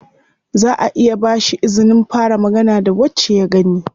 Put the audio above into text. Zaʼa iya ba shi izinin fara magana da wacce ya gani.